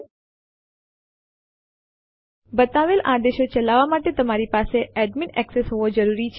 ચાલો જોઈએ કે કેવી રીતે ફાઈલ ને એક સ્થળ થી બીજા સ્થળ ઉપર કોપી કરવું